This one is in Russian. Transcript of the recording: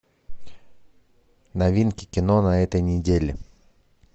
новинки кино на этой неделе